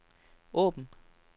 åben